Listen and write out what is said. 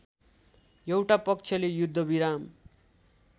एउटा पक्षले युद्धविराम